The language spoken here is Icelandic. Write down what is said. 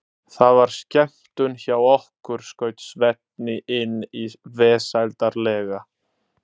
Það var skemmtun hjá okkur, skaut Svenni inn í vesældarlega.